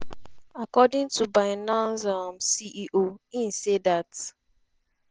according to binance um ceo im say dat